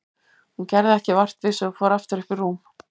Hún gerði ekki vart við sig og fór aftur upp í rúm.